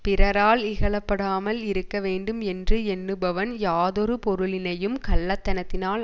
பிறரால் இகழப்படாமல் இருக்கவேண்டும் என்று எண்ணுபவன் யாதொரு பொருளினையும் கள்ளத்தனத்தினால்